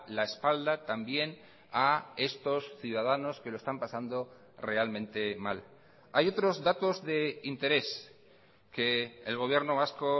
la espalda también a estos ciudadanos que lo están pasando realmente mal hay otros datos de interés que el gobierno vasco